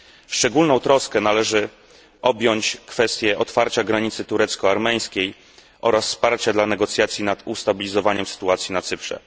Szczególną troską należy objąć kwestię otwarcia granicy turecko armeńskiej oraz wsparcia dla negocjacji nad ustabilizowaniem sytuacji na Cyprze.